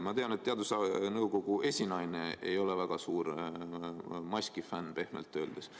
Ma tean, et teadusnõukoja esinaine ei ole väga suur maskifänn –pehmelt öeldes.